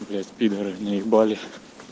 блять пидоры наебали